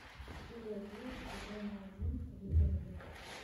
серия девять сезона один викинги